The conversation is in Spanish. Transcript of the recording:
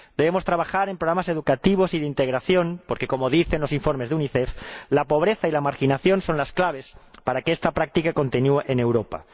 Debemos trabajar en programas educativos y de integración porque, como dicen los informes de Unicef, la pobreza y la marginación son las claves para que esta práctica continúe en Europa.